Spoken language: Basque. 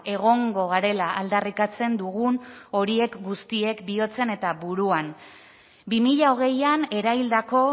egongo garela aldarrikatzen dugun horiek guztiek bihotzean eta buruan bi mila hogeian eraildako